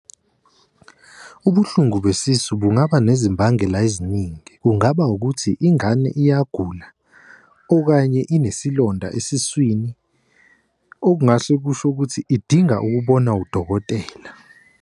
Ubuhlungu besise bungaba ngezimbangela eziningi kungaba ukuthi ingane iyagula, okanye inesilonda esiswini. Okungahle kusho ukuthi idinga ukubona udokotela.